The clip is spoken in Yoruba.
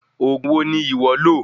Òògùn wo ni iwọ lo?